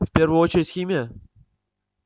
в первую очередь химия